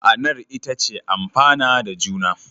Ma'anar ita ce amfana da juna.